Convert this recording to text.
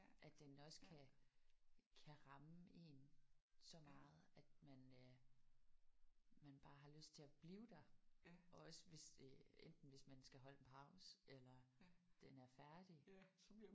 At den også kan kan ramme én så meget at man øh man bare har lyst til at blive der og også hvis øh enten hvis man skal holde en pause eller den er færdig